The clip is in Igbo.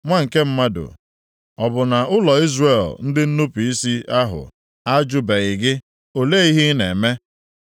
“Nwa nke mmadụ, ọ bụ na ụlọ Izrel ndị nnupu isi ahụ ajụbeghị gị, ‘o lee ihe ị na-eme?’